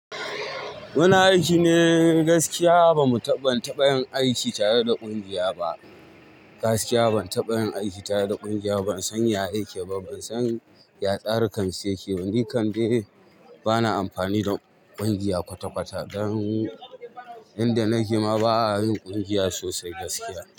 Muna aiki ne gaskiya. Ba mu taɓa yin aiki tare da ƙungiya ba. Gaskiya ban taɓa yin aiki tare da ƙungiya ba. Ban san ya ake ba, ban san yatsarikan su yake ba. Ni kam dai bana amfani da ƙungiya kwata-kwata. Dan inda nake ma ba a yin ƙungiya sosai gaskiya.